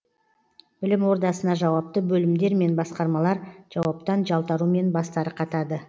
білім ордасына жауапты бөлімдер мен басқармалар жауаптан жалтарумен бастары қатады